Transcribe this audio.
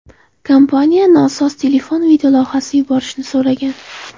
Kompaniya nosoz telefon videolavhasini yuborishni so‘ragan.